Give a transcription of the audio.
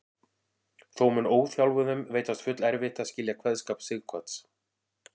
Þó mun óþjálfuðum veitast fullerfitt að skilja kveðskap Sighvats.